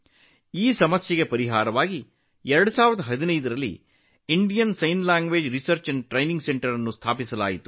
ಈ ತೊಂದರೆಗಳನ್ನು ನಿವಾರಿಸಲು 2015 ರಲ್ಲಿ ಭಾರತೀಯ ಸಂಜ್ಞೆ ಭಾಷಾ ಸಂಶೋಧನೆ ಮತ್ತು ತರಬೇತಿ ಕೇಂದ್ರವನ್ನು ಸ್ಥಾಪಿಸಲಾಯಿತು